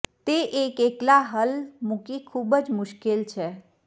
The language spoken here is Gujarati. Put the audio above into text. તે એક એકલા હલ મૂકી ખૂબ જ મુશ્કેલ છે